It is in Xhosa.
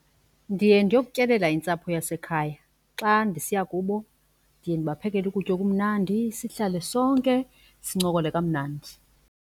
Ndiye ndiyokutyelela intsapho yasekhaya. Xa ndisiya kubo ndiye ndibaphekele ukutya okumnandi sihlale sonke sincokole kamnandi.